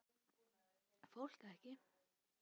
Fólk ekki.